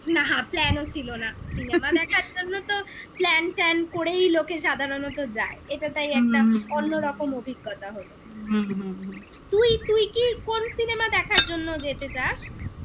না plan ও ছিল না cinema দেখার জন্য তো plan -ট্যান করেই লোকে সাধারণত যায় এটা তাই একটা অন্যরকম অভিজ্ঞতা হলো হুম হুম হুম তুই তুই কি কোন cinema দেখার জন্য যেতে চাস?